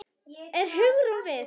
Er Hugrún við?